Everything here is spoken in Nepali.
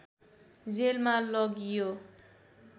जेलमा लगियो